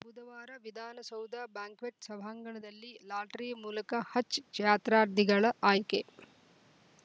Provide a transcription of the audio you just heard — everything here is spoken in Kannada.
ಬುಧವಾರ ವಿಧಾನಸೌಧ ಬ್ಯಾಂಕ್ವೆಟ್‌ ಸಭಾಂಗಣದಲ್ಲಿ ಲಾಟರಿ ಮೂಲಕ ಹಜ್‌ ಜಾತ್ರಾರ್ಧಿಗಳ ಆಯ್ಕೆ